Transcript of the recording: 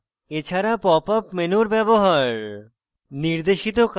popup menu ব্যবহার